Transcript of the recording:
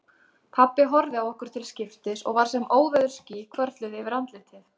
Pabbi horfði á okkur til skiptis og var sem óveðursský hvörfluðu yfir andlitið.